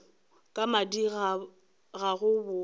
ka madi ga go botse